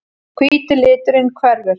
Hvíti liturinn hverfur.